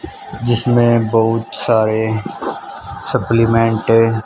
जिसमें बहुत सारे सप्लीमेंट --